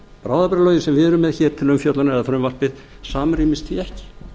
bráðabirgðalögin sem við erum með til umfjöllunar eða frumvarpið samrýmist því ekki